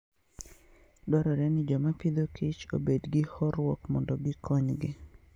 Dwarore ni joma pidho kich obed gi horuok mondo gikonygi.